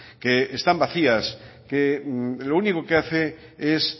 que están vacías que lo único que hace es